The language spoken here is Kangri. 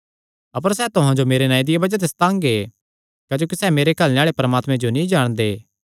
अपर सैह़ तुहां जो मेरे नांऐ दिया बज़ाह ते सतांगे क्जोकि सैह़ मेरे घल्लणे आल़े परमात्मे जो नीं जाणदे